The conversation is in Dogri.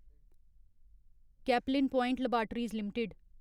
Caplin point laboratories limited